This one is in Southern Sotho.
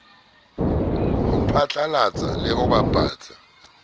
ho phatlalatsa le ho bapatsa